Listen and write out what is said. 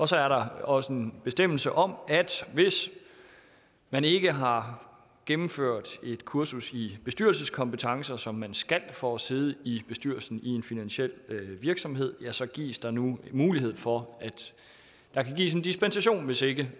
så er der også en bestemmelse om at hvis man ikke har gennemført et kursus i bestyrelseskompetencer som man skal for at sidde i bestyrelsen i en finansiel virksomhed så gives der nu mulighed for at der kan gives en dispensation hvis ikke